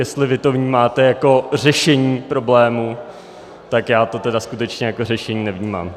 Jestli vy to vnímáte jako řešení problému, tak já to tedy skutečně jako řešení nevnímám.